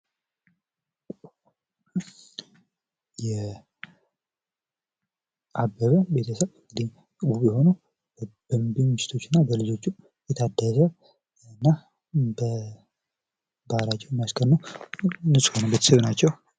የአበበ ቤተሰብ ውብ የሆነ ሚስቶች እና በልጆቹ የታደለ እና የሀገራችን የሚያስቀኑ ቤተሰብ ናቸው።